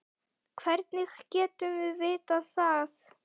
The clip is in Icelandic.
Hvernig getum við vitað það?